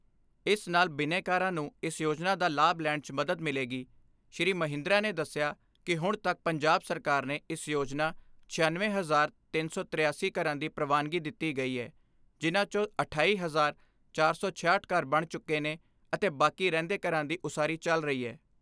ਇਸ ਨਾਲ ਬਿਨੈਕਾਰਾਂ ਨੂੰ ਇਸ ਯੋਜਨਾ ਦਾ ਲਾਭ ਲੈਣ 'ਚ ਮਦਦ ਮਿਲੇਗੀ ਸ੍ਰੀ ਮਹਿੰਦਰਾ ਨੇ ਦਸਿਆ ਕਿ ਹੁਣ ਤੱਕ ਪੰਜਾਬ ਸਰਕਾਰ ਨੇ ਇਸ ਯੋਜਨਾ ਛਿਆਨਵੇਂ ਹਜ਼ਾਰ ਤਿੰਨ ਸੀਂ ਤੀਰਾਸੀ ਘਰਾਂ ਦੀ ਪ੍ਰਵਾਨਗੀ ਦਿੱਤੀ ਗਈ ਏ ਜਿਨ੍ਹਾਂ ਚੋਂ ਅਠਾਈ ਹਜ਼ਾਰ ਚਾਰ ਸੌ ਛਿਆਹਠ ਘਰ ਬਣ ਚੁੱਕੇ ਨੇ ਅਤੇ ਬਾਕੀ ਰਹਿੰਦੇ ਘਰਾਂ ਦੀ ਉਸਾਰੀ ਚੱਲ ਰਹੀ ਐ।